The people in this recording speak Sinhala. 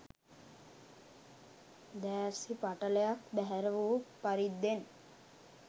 දෑස්හි පටලයක් බැහැර වූ පරිද්දෙන්